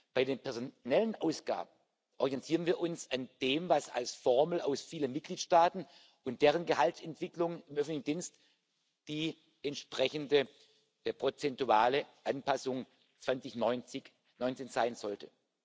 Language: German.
Bei den personellen Ausgaben orientieren wir uns an dem, was als Formel aus vielen Mitgliedstaaten und deren Gehaltsentwicklung im öffentlichen Dienst die entsprechende prozentuale Anpassung 2019 sein sollte.